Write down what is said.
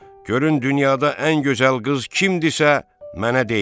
Görün dünyada ən gözəl qız kimdisə, mənə deyin.